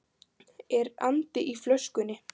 Er andi í flöskunni?